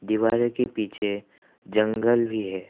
दिवार के पीछे जंगल भी है।